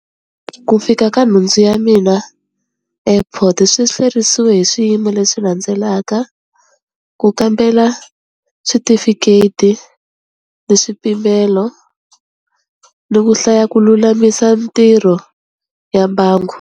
Ku fika ka nhundzu ya mina airport swi hlwerisiwe hi swiyimo leswi landzelaka, ku kambela switifiketi ni swipimelo, ni ku hlaya ku lulamisa mintirho ya mbangu.